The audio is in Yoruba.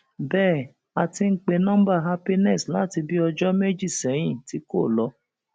bẹẹ á ti ń pe nọmba happiness láti bíi ọjọ méjì sẹyìn tí kò lọ